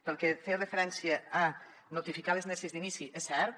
pel que feia referència a notificar les neses d’inici és cert